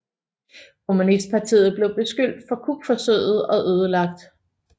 Kommunistpartiet blev beskyldt for kupforsøget og ødelagt